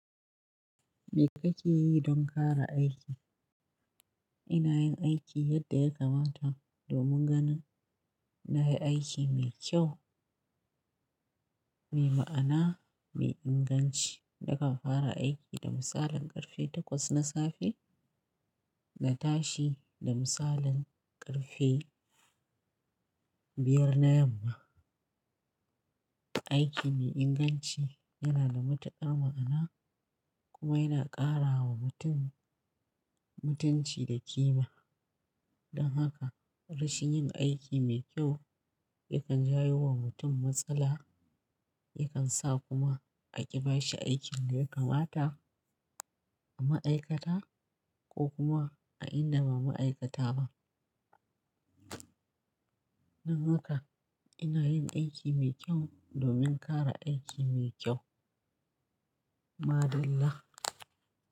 Me kake yi don ƙara aiki? Ina yin aiki yadda ya kamata domin ganin na yi aiki mai kyau, mai ma'ana, mai inganci. Nakan fara aiki da misalin ƙarfe takwas na safe na tashi da misalin ƙarfe biyar na yamma. Aiki mai inganci yana da matuƙar ma'ana kuma yana ƙara wa mutum mutunci da ƙima. Don haka rashin yin aiki mai kyau yakan jawo wa mutum matsala, yakan sa kuma a ƙi bashi aikin da ya kamata a ma'aikata ko kuma a inda ba ma'aikata ba. Don haka ina yin aiki mai kyau domin ƙara aiki mai kyau. Madalla.